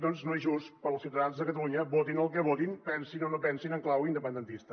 doncs no és just per als ciutadans de catalunya votin el que votin pensin o no pensin en clau independentista